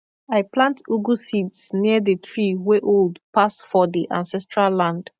i plant ugu seeds near the tree wey old pass for the ancestral land